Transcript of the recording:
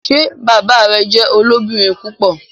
Ṣe bàbá rẹ jẹ olobirin púpọ?